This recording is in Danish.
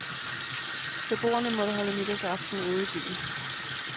Beboerne måtte holde nytårsaften ude i byen.